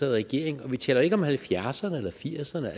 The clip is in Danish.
regering vi taler ikke om halvfjerdserne eller firserne